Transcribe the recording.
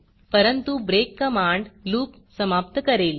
परंतु break command loop समाप्त करेल